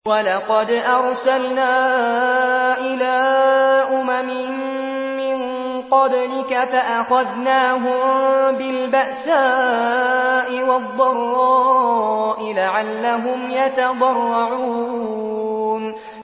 وَلَقَدْ أَرْسَلْنَا إِلَىٰ أُمَمٍ مِّن قَبْلِكَ فَأَخَذْنَاهُم بِالْبَأْسَاءِ وَالضَّرَّاءِ لَعَلَّهُمْ يَتَضَرَّعُونَ